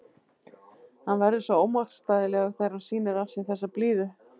Hann verður svo ómótstæðilegur þegar hann sýnir af sér þessa blíðu.